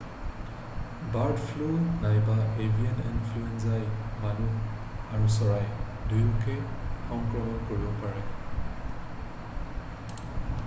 bird flu নাইবা avian ইনফ্লুৱেঞ্জাই মানুহ আৰু চৰাই দুয়োকে সংক্ৰমণ কৰিব পাৰে